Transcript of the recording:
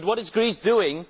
But what is Greece doing?